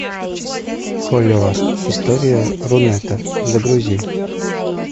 холивар история рунета загрузи